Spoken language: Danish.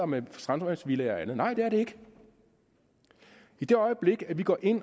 med strandvejsvillaer og andet nej det er det ikke i det øjeblik vi går ind